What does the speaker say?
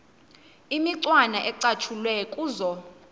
imicwana ecatshulwe kuzo